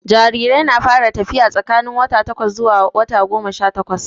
Jarirai na fara tafiya tsakanin wata takwas zuwa wata goma sha takwas